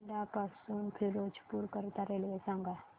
बठिंडा पासून फिरोजपुर करीता रेल्वे सांगा